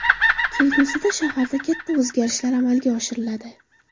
Kelgusida shaharda katta o‘zgarishlar amalga oshiriladi.